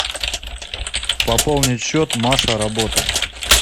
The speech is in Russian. пополнить счет маша работа